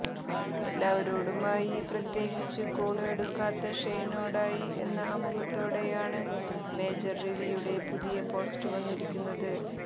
എല്ലാവരോടുമായി പ്രത്യേകിച്ച് കോള് എടുക്കാത്ത ഷെയ്നോടായി എന്ന ആമുഖത്തോടെയാണ് മേജര് രവിയുടെ പുതിയ പോസ്റ്റ് വന്നിരിക്കുന്നത്